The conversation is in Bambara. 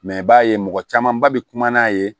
Mɛ i b'a ye mɔgɔ camanba bɛ kuma n'a ye